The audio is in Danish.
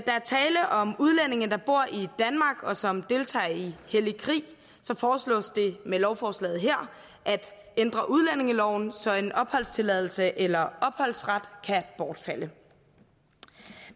er tale om udlændinge der bor i danmark og som deltager i hellig krig foreslås det med lovforslaget her at ændre udlændingeloven så en opholdstilladelse eller opholdsret kan bortfalde